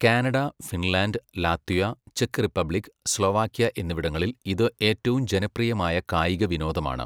Canada, Finland, Latvia, ചെക്ക് Republic, Slovakia എന്നിവിടങ്ങളിൽ ഇത് ഏറ്റവും ജനപ്രിയമായ കായിക വിനോദമാണ്.